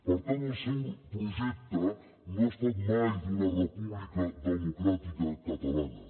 per tant el seu projecte no ha estat mai d’una república democràtica catalana